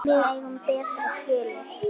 Við eigum betra skilið.